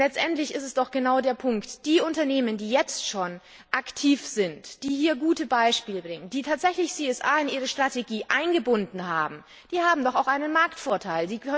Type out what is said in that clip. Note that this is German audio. Denn letztendlich ist es doch genau der Punkt Die Unternehmen, die jetzt schon aktiv sind, die hier gute Beispiele bringen, die tatsächlich CSR in ihre Strategie eingebunden haben, haben doch auch einen Marktvorteil.